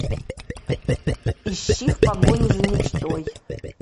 ищи в погоне за мечтой